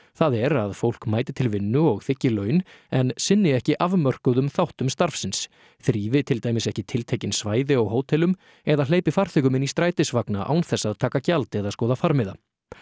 það er að fólk mæti til vinnu og þiggi laun en sinni ekki afmörkuðum þáttum starfsins þrífi til dæmis ekki tiltekin svæði á hótelum eða hleypi farþegum inn í strætisvagna án þess að taka gjald eða skoða farmiða